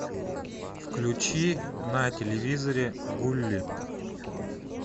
включи на телевизоре гулли